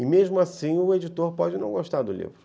E, mesmo assim, o editor pode não gostar do livro.